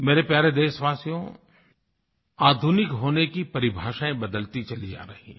मेरे प्यारे देशवासियो आधुनिक होने की परिभाषाएँ बदलती चली जा रही हैं